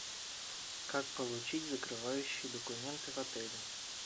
как получить закрывающие документы в отеле